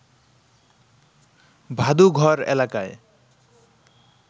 ভাদুঘর এলাকায়